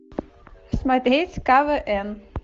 смотреть квн